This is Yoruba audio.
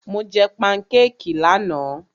Mo jẹ pankékì lánàá.